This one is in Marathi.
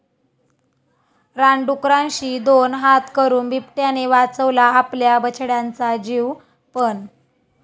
रानडुकरांशी दोन हात करून बिबट्याने वाचवला आपल्या बछड्यांचा जीव, पण...